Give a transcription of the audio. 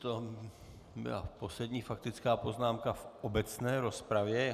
To byla poslední faktická poznámka v obecné rozpravě.